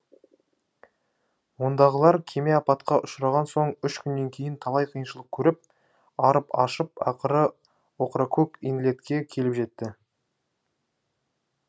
ондағылар кеме апатқа ұшыраған соң үш күннен кейін талай қиыншылық көріп арып ашып ақыры окракок инлетке келіп жетті